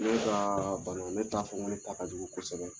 Ne ka bana ne t'a fɔ ne ta ka jugu kosɛbɛ